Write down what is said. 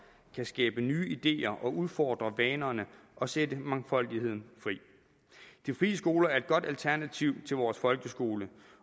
kan skabe nye ideer og udfordre vanerne og sætte mangfoldigheden fri de frie skoler er et godt alternativ til vores folkeskole